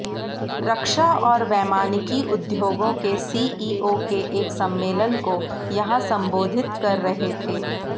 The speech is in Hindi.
रक्षा और वैमानिकी उद्योगों के सीईओ के एक सम्मेलन को यहां संबोधित कर रहे थे